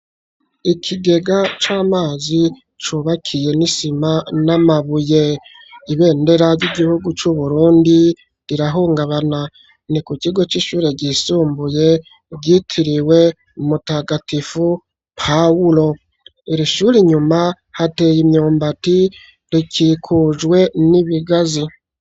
Ikigega c'amazi cubakiye n'isima n'amabuye ibendera ry'igihugu c'uBurundi rirahungabana ni ku kigo c'ishure ryisumbuye ryitiriwe mutagatifu Pawulo irishure inyuma hateye imyumbati rikikujwe n'ibigazi.